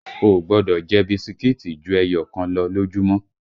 O ò gbọ́dọ̀ jẹ bisikíìtì ju ẹyọ kan lọ lójúmọ́!